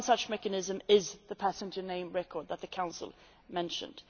One such mechanism is the passenger name record data that the Council mentioned.